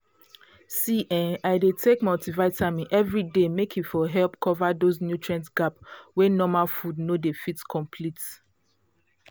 see[um]i dey take multivitamin every day make e for help cover those nutrient gap wey normal food no dey fit complete